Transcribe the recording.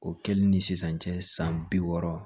O kɛli ni sisan cɛ san bi wɔɔrɔ